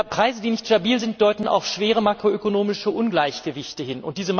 Preise, die nicht stabil sind, deuten auf schwere makroökonomische Ungleichgewichte hin.